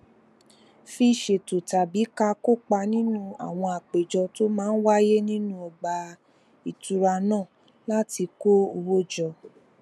fi ṣètò tàbí ká kópa nínú àwọn àpéjọ tó máa ń wáyé nínú ọgbà ìtura náà láti kó owó jọ